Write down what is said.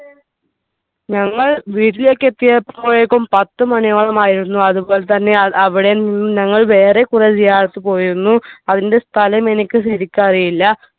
ഞങ്ങൾ വീട്ടിലേക്ക് എത്തിയപ്പോഴേക്കും പത്ത് മണിയോളമായിരുന്നു അതുപോലെ തന്നെയാണ് അവിടെ നിന്ന് ഞങ്ങൾ വേറെ കുറെ പോയിരുന്നു അതിന്റെ സ്ഥലം എനിക്ക് ശെരിക്കു അറിയില്ല